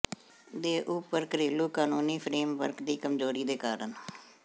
ਦੇ ਉੱਪਰ ਘਰੇਲੂ ਕਾਨੂੰਨੀ ਫਰੇਮਵਰਕ ਦੀ ਕਮਜ਼ੋਰੀ ਦੇ ਕਾਰਨ